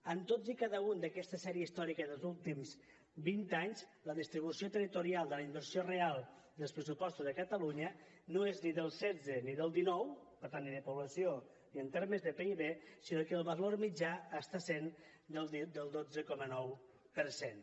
en totes i cada una d’aquesta sèrie històrica dels últims vint anys la distribució territorial de la inversió real dels pressupostos a catalunya no és ni del setze ni del dinou per tant ni de població ni en termes de pib sinó que el valor mitjà està sent del dotze coma nou per cent